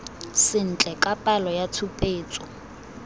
sentle ka palo ya tshupetso